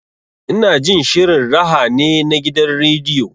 Ina jin shirin raha ne na gidan rediyo.